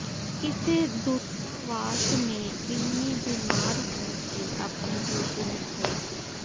ਕਿਸੇ ਦੂਤਾਵਾਸ ਨੇ ਇੰਨੀ ਬਿਮਾਰ ਹੋਣ ਤੇ ਆਪਣੀ ਡਿਊਟੀ ਨਿਭਾਈ